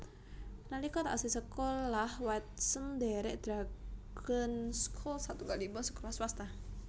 Nalika taksih sekolah Watson ndhèrèk Dragon School satunggalipun sekolah swasta